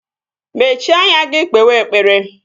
Mechie anya gị kpewe ekpere!